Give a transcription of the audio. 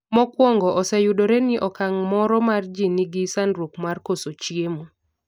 mokwongo oseyudore ni okang' moro mar ji ni gi sandruok mar koso chiemo